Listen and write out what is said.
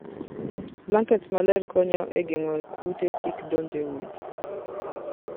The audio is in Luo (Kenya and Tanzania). Blankets maler konyo e geng'o kute kik donj e udi.